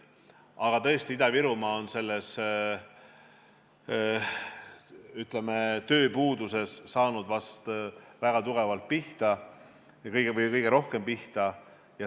Aga tõesti, Ida-Virumaa on selles, ütleme, tööpuuduses saanud väga tugevalt või kõige rohkem pihta.